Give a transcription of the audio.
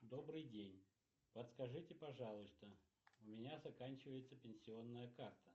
добрый день подскажите пожалуйста у меня заканчивается пенсионная карта